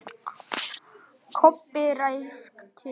Kobbi ræskti sig.